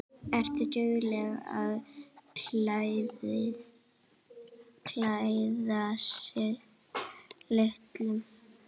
Ertu dugleg að klæðast litum?